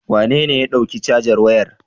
Wanene ya ɗauki cajar wayar?